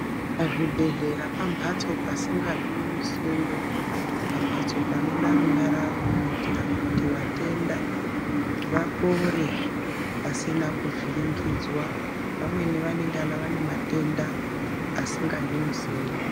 Pazvibhedhlera pambatso pasingadiwi musindo pambatso panoda runyararo kuitira kuti vatenda vapore pasina kuvhiringidzwa vamweni vanengana vane matenda asingadi musindo.